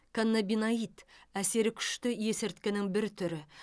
каннабиноид әсері күшті есірткінің бір түрі